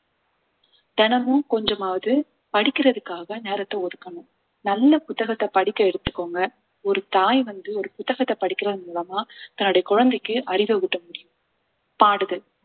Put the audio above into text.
தினமும் கொஞ்சமாவது படிக்கிறதுக்காக நேரத்தை ஒதுக்கணும் நல்ல புத்தகத்தை படிக்க எடுத்துக்கோங்க ஒரு தாய் வந்து ஒரு புத்தகத்தை படிக்கிறதன் மூலமா தன்னுடைய குழந்தைக்கு அறிவை ஊட்ட முடியும் பாடுதல்